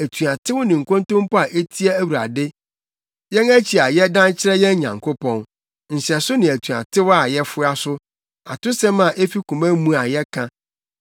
atuatew ne nkontompo a etia Awurade, yɛn akyi a yɛdan kyerɛ yɛn Nyankopɔn, nhyɛso ne atuatew a yɛfoa so, atosɛm a efi koma mu a yɛka.